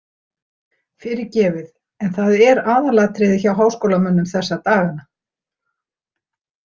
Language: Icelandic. Fyrirgefið en það er aðalatriðið hjá háskólamönnum þessa dagana.